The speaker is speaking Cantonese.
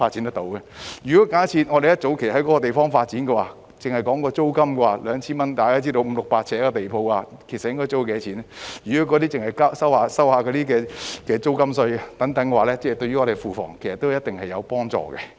假設香港政府早在該處發展，單就 2,000 元的租金而言——大家也知道五六百呎地鋪的租金應該是多少——即使政府只是徵收租金稅等，對庫房也有一定的幫助。